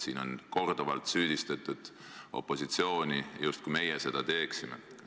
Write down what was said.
Siin on korduvalt süüdistatud opositsiooni, justkui meie seda teeksime.